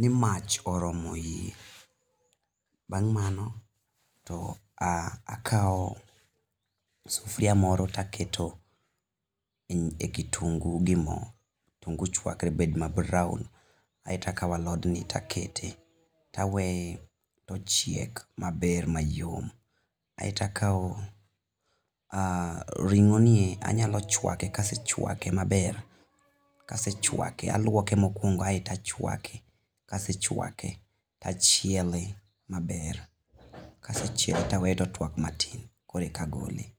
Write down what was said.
ni mach oromo iye bang' mano to akawo sufuria moro to aketo e kitungu gi mo kitungu chakre mabed brown kaeto akawo alodni to aketo to aweye to chuakre ochiek maber mayom kaeto akawo ring'onie anyalo chuake ka asechuake maber, kasechuaken aluoke mokuongo kaeto achuake ka asechuake to achiele maber kasechiele to aweye to otuak matin koro eka agole.